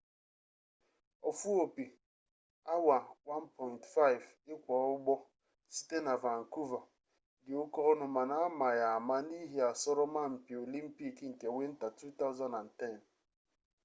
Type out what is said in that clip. ofu-opi awa 1.5 ikwa-ugbo site na vancouver di oke-onu mana ama ya ama n’ihi asoroma-mpi olimpic nke winta 2010